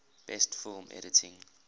best film editing